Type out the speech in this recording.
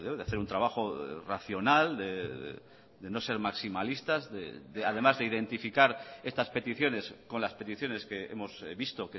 de hacer un trabajo racional de no ser maximalistas además de identificar estas peticiones con las peticiones que hemos visto